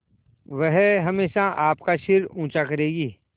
वह हमेशा आपका सिर ऊँचा करेगी